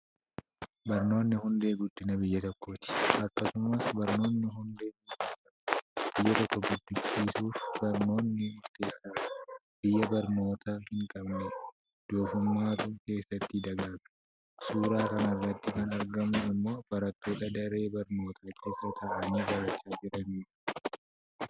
Barnoonni hundee guddinaa biyya tokkooti. Akkasumas barnootni hundee beekumsaati. Biyya tokko guddachuif barnoonni murteessaadha. Biyya barnoota hin qabne doofummaatu keessatti dagaaga. Suuraa kanarratti kan argamu immoo barattoota daree barnootaa keessa taa'anii barachaa jiranidha.